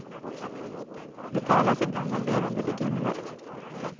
Det talas ibland om levande legender.